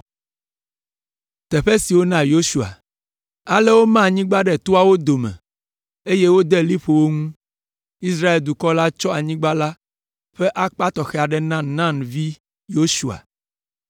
Ale woma anyigba la ɖe toawo dome, eye wode liƒo wo ŋu. Israel dukɔ la tsɔ anyigba la ƒe akpa tɔxɛ aɖe na Nun ƒe vi Yosua,